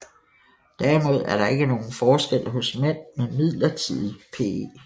Derimod er der ikke nogen forskel hos mænd med midlertidig PE